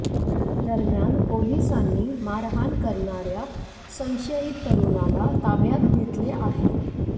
दरम्यान पोलीसांनी मारहाण करणार्या संशयित तरुणाला ताब्यात घेतले आहे